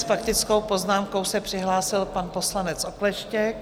S faktickou poznámkou se přihlásil pan poslanec Okleštěk.